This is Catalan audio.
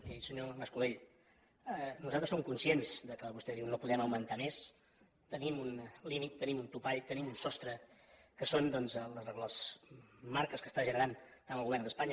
miri senyor mas colell nosaltres som conscients del que vostè diu no podem augmentar més tenim un límit tenim un topall tenim un sostre que són doncs les marques que està generant tant el govern d’espanya